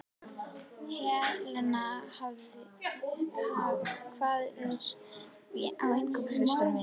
Helena, hvað er á innkaupalistanum mínum?